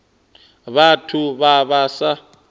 vhathu vhe vha vha sa